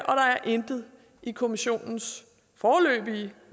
intet i kommissionens foreløbige